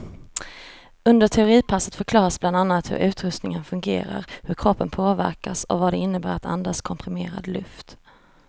Under teoripassen förklaras bland annat hur utrustningen fungerar, hur kroppen påverkas och vad det innebär att andas komprimerad luft.